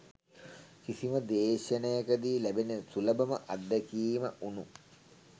කිසිම දේශනයකදි ලැබෙන සුලබම අත්දැකීම වුණු